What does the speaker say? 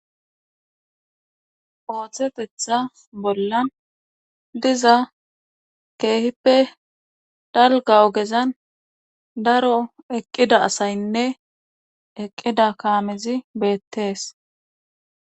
ooththetetha bollan diza keehippe dalga ogezan daro eqqida asaynne eqqida kaamezi beettees